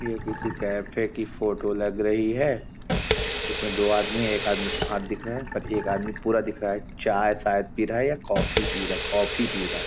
ये किसी कैफ़े की फोटो लग रही है जिस में दो आदमी एक आदमी का हाथ दिख रहा है पर एक आदमी पूरा दिख रहा है चाय शायद पी रहा है या कॉफ़ी पी रहा कॉफ़ी पी रहा हैं।